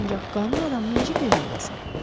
Ancaq qanun adamına necə kömək edəsən?